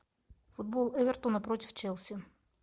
футбол эвертона против челси